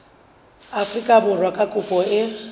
afrika borwa ha kopo e